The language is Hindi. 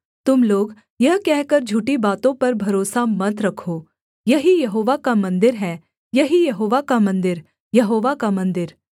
तुम लोग यह कहकर झूठी बातों पर भरोसा मत रखो यही यहोवा का मन्दिर है यही यहोवा का मन्दिर यहोवा का मन्दिर